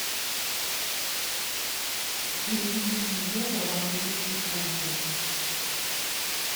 переведи мне евро в английские фунты